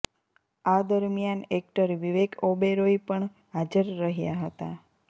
આ દરમિયાન એક્ટર વિવેક ઓબેરોય પણ હાજર રહ્યા હતા